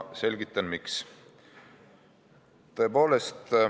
Selgitan, miks.